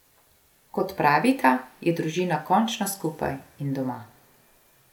Kot pravita, je družina končno skupaj in doma.